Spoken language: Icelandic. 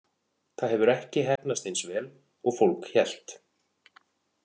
Það hefur ekki heppnast eins vel og fólk hélt.